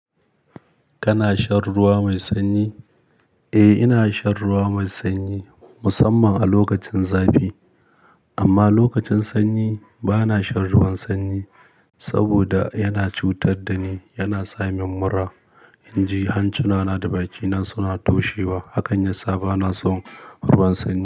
Kana shan ruwa mai sanyi? Eh, ina shan ruwa mai sanyi musamman a lokacin zafi. Amma lokacin sanyi bana shan ruwan sanyi, saboda yana cutar da ni, yana sa min mura. In ji hanci na na da bakina suna taushewa. Hakan yasa bana son ruwan sanyi.